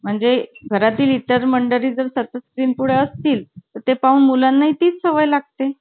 घरातील इतर मंडळी जर सतत स्क्रीन पुढे असतील ते पाहून मुलांना ही ती सवय लागते